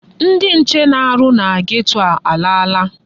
Ndị nche na-arụ na geto a alaala.